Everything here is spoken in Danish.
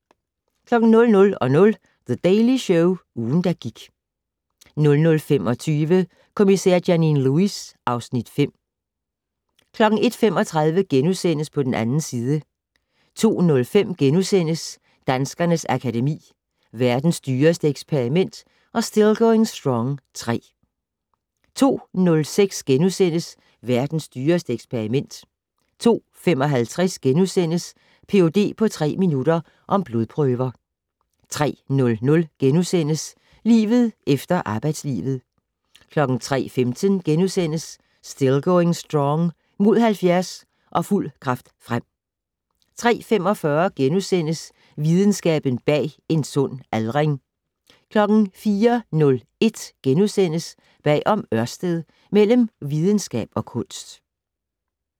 00:00: The Daily Show - ugen, der gik 00:25: Kommissær Janine Lewis (Afs. 5) 01:35: På den 2. side * 02:05: Danskernes Akademi: Verdens dyreste eksperiment & Still Going Strong III * 02:06: Verdens dyreste eksperiment * 02:55: Ph.d. på tre minutter - om blodprøver * 03:00: Livet efter arbejdslivet * 03:15: Still Going Strong - Mod 70 - og fuld kraft frem * 03:45: Videnskaben bag en sund aldring * 04:01: Bag om Ørsted - Mellem videnskab og kunst *